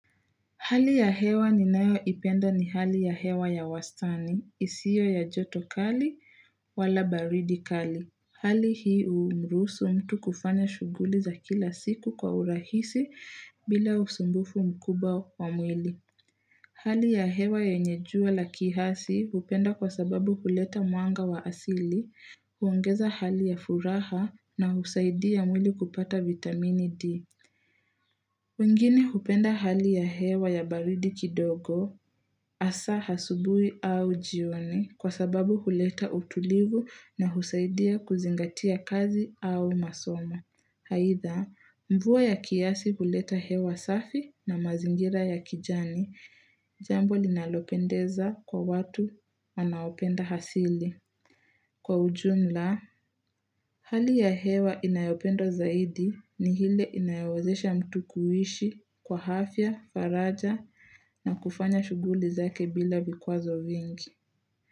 Hali ya hewa ni nayo ipenda ni hali ya hewa ya wastani, isio ya joto kali wala baridi kali. Hali hii humruhusu mtu kufanya shughuli za kila siku kwa urahisi bila usumbufu mkubwa wa mwili. Hali ya hewa yenye jua la kihasi hupenda kwa sababu kuleta muanga wa asili, huongeza hali ya furaha na husaidia mwili kupata vitamini D. Wengine hupenda hali ya hewa ya baridi kidogo asa hasubuhi au jioni kwa sababu huleta utulivu na husaidia kuzingatia kazi au masomo. Haidha, mvua ya kiasi huleta hewa safi na mazingira ya kijani, jambo linalopendeza kwa watu wanaopenda hasili. Kwa ujumla, hali ya hewa inayopendwa zaidi ni hile inayowazesha mtu kuishi kwa hafya, faraja na kufanya shuguli zake bila vikwazo vingi.